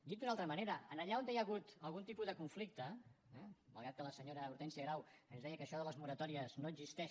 dit d’una altra manera allà on hi ha hagut algun tipus de conflicte malgrat que la senyora hortènsia grau ens deia que això de les moratòries no existeix